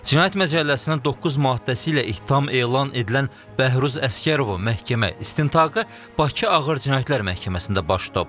Cinayət Məcəlləsinin 9-cu maddəsi ilə ittiham elan edilən Bəhruz Əsgərovun məhkəmə istintaqı Bakı Ağır Cinayətlər Məhkəməsində baş tutub.